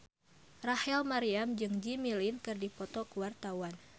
Rachel Maryam jeung Jimmy Lin keur dipoto ku wartawan